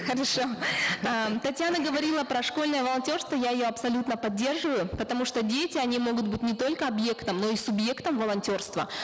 хорошо татьяна говорила про школьное волонтерство я ее абсолютно поддерживаю потому что дети они могут быть не только объектом но и субъектом волонтерства